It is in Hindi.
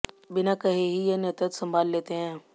बिना कहे ही ये नेतृत्व संभाल लेते हैं